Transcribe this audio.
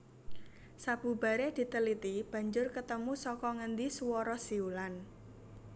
Sabubare diteliti banjur ketemu saka ngendi suwara siulan